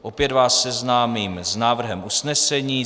Opět vás seznámím s návrhem usnesení.